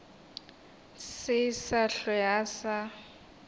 se sa hlwe a sa